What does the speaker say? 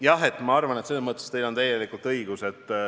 Jah, ma arvan, et selles mõttes teil on täielikult õigus.